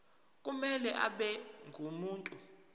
kumele abe ngumuntu